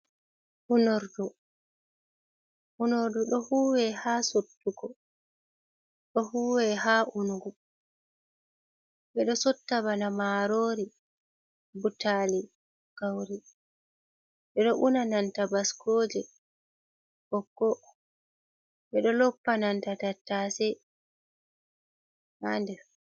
Unordu, unordu ɗo huuwe haa sottugo, ɗo huuwe haa unugo. Ɓe ɗo sotta bana maaroori, butaali, gawri. Ɓe ɗo unananta baskooje, ɓokko, ɓe ɗo loppananta tattase haa nder.